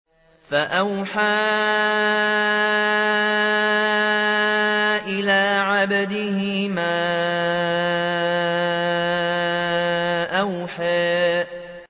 فَأَوْحَىٰ إِلَىٰ عَبْدِهِ مَا أَوْحَىٰ